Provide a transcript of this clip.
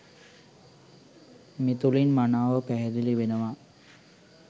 මෙතුළින් මනාව පැහැදිලි වෙනවා.